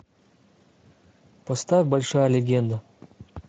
поставь большая легенда